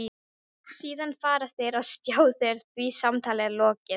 Síðan fara þeir á stjá þegar því samtali er lokið.